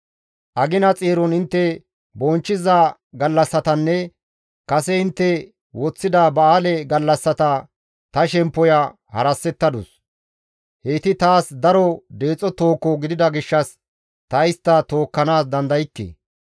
Agina xeeron intte bonchchiza gallassatanne kase intte woththida ba7aale gallassata ta shemppoya harasettadus; heyti taas daro deexo tooho gidida gishshas ta istta tookkanaas dandaykke.